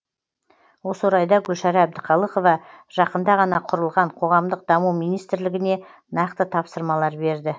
осы орайда гүлшара әбдіқалықова жақында ғана құрылған қоғамдық даму министрлігіне нақты тапсырмалар берді